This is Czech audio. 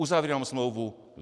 Uzavírám smlouvu.